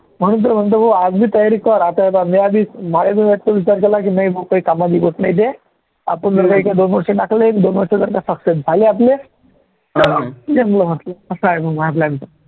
म्हणून तर म्हणतो भाऊ आज बी तयारी कर आता विचार केला की नाही भाऊ काही काम बी होतं नाही हे आपण जर का इथे दोन वर्ष टाकले दोन वर्ष जर success झाले आपले तर असं आहे माझा plan तर